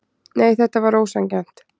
Nei, þetta var ósanngjarnt.